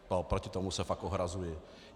Proti tomu se fakt ohrazuji.